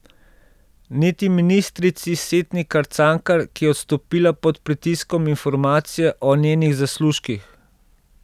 Niti ministrici Setnikar Cankar, ki je odstopila pod pritiskom informacije o njenih zaslužkih.